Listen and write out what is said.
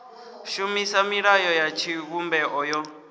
shumisa milayo ya tshivhumbeo yo